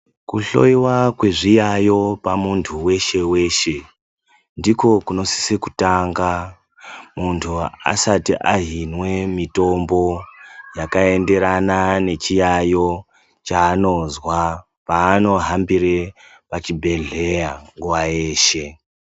Kuhloiwa kwezviyayo pamuntu weshe weshe ndiko kunosisa kutanga muntu asati ahinwe mitombo yakaenderana nechiyayo chaanozwa paanohambire pachibhedhlera nguwa yeshe.